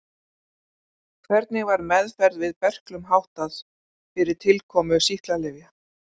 Hvernig var meðferð við berklum háttað fyrir tilkomu sýklalyfja?